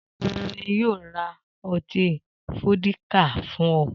Ta ni yóò ra ọtí fódíkà fún ọ?